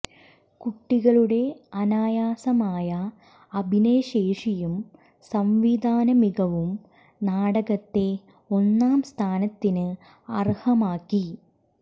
കുട്ടികളുടെ അനായാസമായ അഭിനയശേഷിയും സംവിധാന മികവും നാടകത്തെ ഒന്നാം സ്ഥാനത്തിന് അര്ഹമാക്കി